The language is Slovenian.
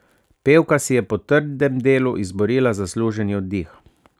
Pevka si je po trdem delu izborila zasluženi oddih.